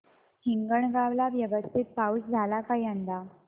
हिंगणगाव ला व्यवस्थित पाऊस झाला का यंदा